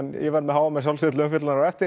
ég verð með h m til umfjöllunar á eftir